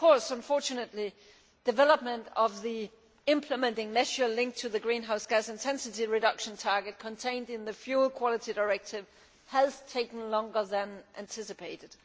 Unfortunately, development of the implementing measure linked to the greenhouse gas intensity reduction target contained in the Fuel Quality Directive has taken longer than anticipated.